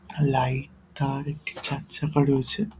Light তার একটি চার চাকা রয়েছে ।